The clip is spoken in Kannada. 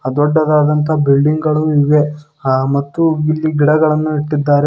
ಆ ದೊಡ್ಡದಾದಂತಹ ಬಿಲ್ಡಿಂಗ್ ಗಳು ಇವೆ ಆ ಮತ್ತು ಇಲ್ಲಿ ಗಿಡಗಳನ್ನ ಇಟ್ಟಿದ್ದಾರೆ.